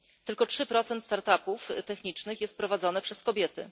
Tylko 3 start upów technicznych jest prowadzone przez kobiety.